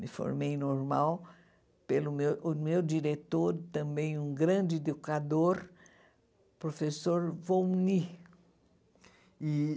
Me formei normal pelo meu o meu diretor, também um grande educador, professor Volny e